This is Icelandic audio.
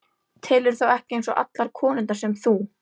Telurðu þá ekki eins og allar konurnar sem þú?